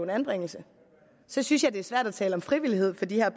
anbringelse så synes jeg det er svært at tale om frivillighed for de her